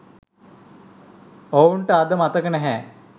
ඔවුන්ට අද මතක නැහැ